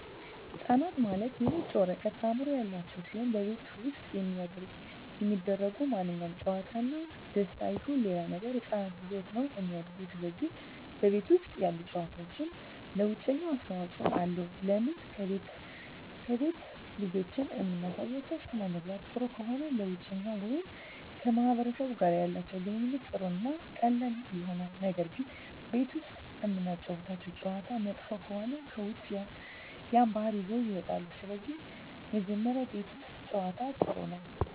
ህፃናት ማለት የነጭ ወረቀት አዕምሮ ያላቸው ሲሆን በቤተሠብ ውስጥ የሚደሰጉ ማንኛውም ጨዋታ እና ደስታ ይሁን ሌላ ነገር ህፃናት ይዘውት ነው እሚድጉ ስለዚህ በቤት ውስጥ ያሉ ጨዋታዎች ለውጨኛው አስተዋፅኦ አለው ለምን ከቤት ልጆችን እምናሳያቸው ሥነምግባር ጥሩ ከሆነ ለውጨኛው ወይም ከማህበረሰቡ ጋር ያላቸው ግንኙነት ጥሩ እና ቀላል ይሆናል ነገር ግን ቤት ውስጥ እምናጫውታቸው ጨዋታ መጥፎ ከሆነ ከውጭ ያን ባህሪ ይዘውት ይወጣሉ ስለዚህ መጀመሪ ቤት ውስት ጨዋታ ጥሩ ነው